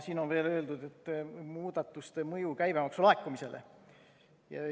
Siin on veel muudatuste mõju käibemaksu laekumisele.